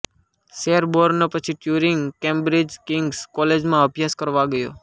Sherborne પછી Turing Cambridge King's કોલેજમાં અભ્યાસ કરવા ગયો